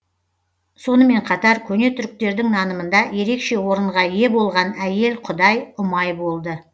сонымен қатар көне түріктердің нанымында ерекше орынға ие болған әйел құдай ұмай болды